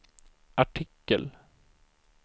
artikel